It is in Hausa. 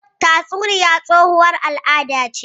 Tatsuniya tsohuwar al'ada ce.